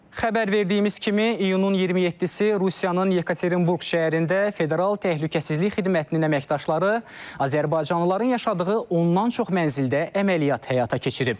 Xəbər verdiyimiz kimi iyunun 27-si Rusiyanın Yekaterinburq şəhərində Federal Təhlükəsizlik Xidmətinin əməkdaşları azərbaycanlıların yaşadığı ondan çox mənzildə əməliyyat həyata keçirib.